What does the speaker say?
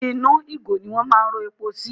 Inú ìgò ni wọ́n máa ń rọ epo sí.